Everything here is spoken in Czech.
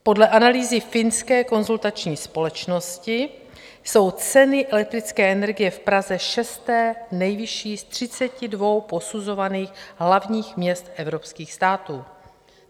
Podle analýzy finské konzultační společnosti jsou ceny elektrické energie v Praze šesté nejvyšší z 32 posuzovaných hlavních měst evropských států.